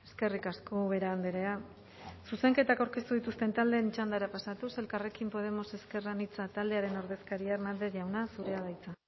eskerrik asko ubera andrea zuzenketak aurkeztu dituzten taldeen txandara pasatuz elkarrekin podemos ezker anitza taldearen ordezkaria hernández jauna zurea da hitza